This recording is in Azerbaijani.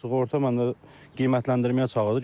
Sığorta məndə qiymətləndirməyə çağırdı.